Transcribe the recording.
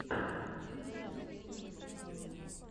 включи запись тимоти делагетто